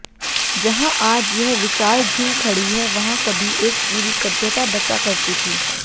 जहां आज यह विशाल झील खड़ी है वहां कभी एक पूरी सभ्यता बसा करती थी